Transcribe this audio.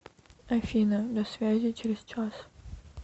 афина до связи через час